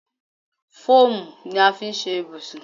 Fóòmù ni a fi ṣe ibùsùn.